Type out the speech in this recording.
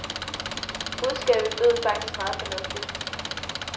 Budskabet lød faktisk meget fornuftigt.